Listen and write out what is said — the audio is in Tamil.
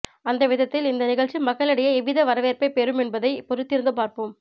அந்த விதத்தில் இந்த நிகழ்ச்சி மக்களிடையே எவ்வித வரவேற்பை பெறும் என்பதை பொறுத்திருந்து பார்ப்போம்